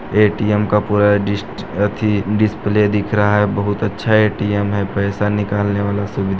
ATM का पूरा डिस अथि डिस्प्ले दिख रहा है बहुत अच्छा ए_टी_एम है पैसा निकालने वाला--